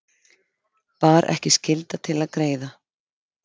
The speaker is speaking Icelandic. Bar ekki skylda til að greiða